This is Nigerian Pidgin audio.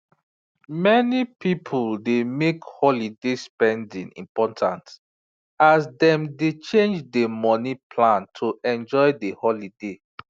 many people dey make holiday spending important as dem dey change dey money plan to enjoy de holiday